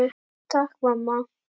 Takk mamma.